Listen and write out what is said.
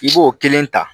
I b'o kelen ta